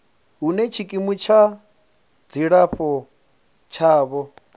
hune tshikimu tsha dzilafho tshavho